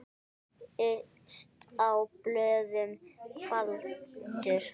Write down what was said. Yst á blöðum faldur.